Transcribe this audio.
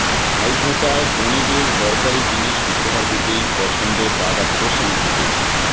ভাইফোঁটায় বোনদের দরকারি জিনিস উপহার দিতেই পছন্দ দাদা প্রসেনজিতের